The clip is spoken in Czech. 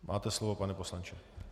Máte slovo, pane poslanče.